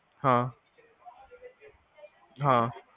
ਹਾਂ ਹਾਂ